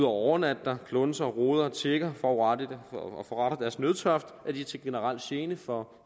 overnatte der klunse rode tigge og forrette deres nødtørft er de til generel gene for